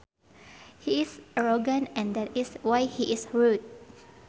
He is arrogant and that is why he is rude